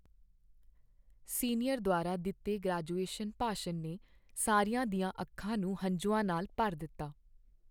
Senior ਦੁਆਰਾ ਦਿੱਤੇ graduation ਭਾਸ਼ਣ ਨੇ ਸਾਰਿਆਂ ਦੀਆਂ ਅੱਖਾਂ ਨੂੰ ਹੰਝੂਆਂ ਨਾਲ ਭਰ ਦਿੱਤਾ।